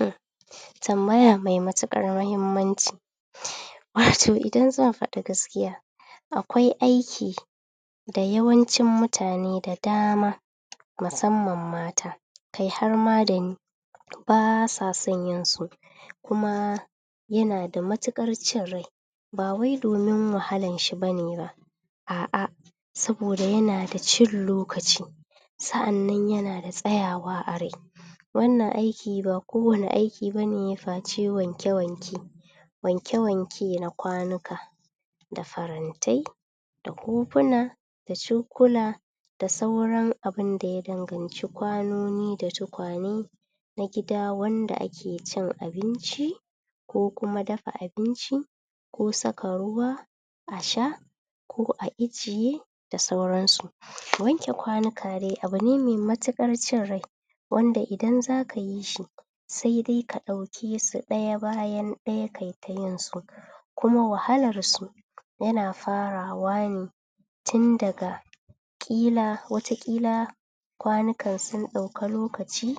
um tambaya me matukar muhimman ci um wato idan za'a fadi gaskiya akwai aiki da yawancin mutane da dama musamman mata kai harma da ni basa son yin su kuma yana da matukar cin rai ba wai domin wahalan shi bane ba a'a saboda yana da cin lokacin sa'an nan yana da tsayawa a rai wannan aiki ba kowani aki bane face wanke-wanke wanke-wanke na kwanuka da farantai da kofuna da cokula da sauran abun da yadanci kwano noni da tukwane na gida wanda ake cin abinci ko kuma dafa abinci ko saka ruwa a sha ko a ijiye da sauransu wanke kwanuka dai abune mai matukar cin rai wanda idan zaka yi shi sai dai ka daukesu daya bayan daya kai ta yin su kuma wahalarsu yana farawa ne tun daga kila wata kila kwanukan sun dauki lokaci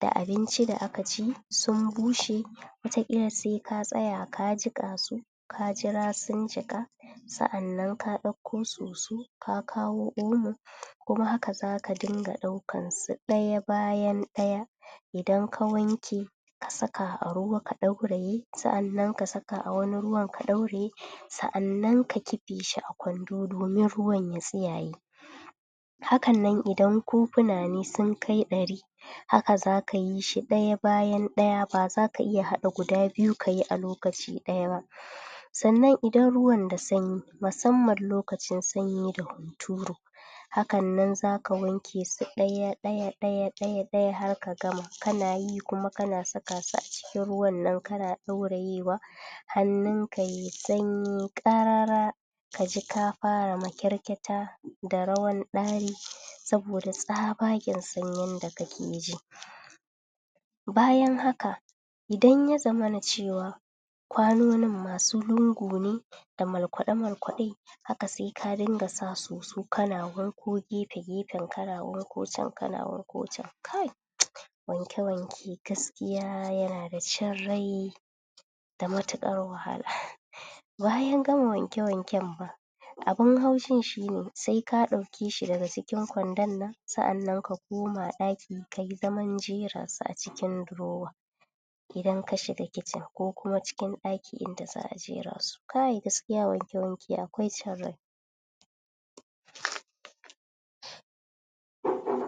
ga abinci da aka ci sun bushe wata kila sai ka tsaya ka jika su ka jira sun jika sa'an nan ka dauko soso ka kawo omo kuma haka zaka din ga daukansu daya bayan daya idan ka wanke a saka a ruwa kadauraye sa'annan kasaka a wani ruwan ka dauraye sa'annan ka kife shi a kwando domin ruwan ya tsiyaye hakan nan idan kofuna ne sun kai dari haka zaka yishi daya bayan daya ba zaka iya hada guda biyu kayi a lokaci daya ba sannan idan ruwan da sanyi musamman lokacin sanyi da hunturu hakan nan zaka wanke su daya daya daya daya daya har ka gama kanayi kuma kana sakasu acikin ruwan nan kana daurayewa hannunka yayi sanyi karara kaji ka fara makyarkyata da rawan dari saboda tsabagen sanyin da ke ji bayan haka idan yazamana cewa kwanonin masu lungu ne da markwade markwade haka se karinka sa soso kana wanko gefe-gefen kana wanko can kana wanko can kai um wanke wanke gaskiya yana da cin rai matukar wahala bayan gama wanke-wanken ma abun haushin shine se ka dauke shi daga cikin kwandon nan sa'an nan ka koma daki kayi zaman jera su acikin durowa idan kashiga kicin ko kuma cikin daki inda za'a jera su kai gaskiya wanke-wanke akwai cin rai um um